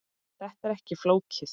Þetta er ekki flókið